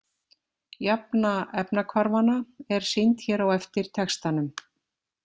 Jafna efnahvarfanna er sýnd hér á eftir textanum.